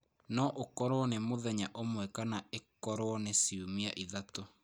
No ũkorũo nĩ mũthenya ũmwe kana ĩkorũo nĩ ciumia ithatũ.